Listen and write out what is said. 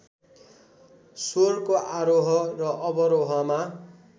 स्वरको आरोह र अवरोहमा